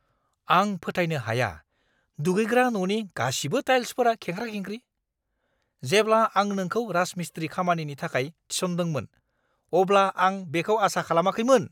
आं फोथायनो हाया दुगैग्रा न'नि गासिबो टाइल्सफोरा खेंख्रा-खेंख्रि। जेब्ला आं नोंखौ राजमिस्ट्रि खामानिनि थाखाय थिसनदोंमोन, अब्ला आं बेखौ आसा खालामाखैमोन!